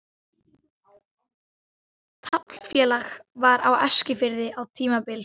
Taflfélag var á Eskifirði á tímabili.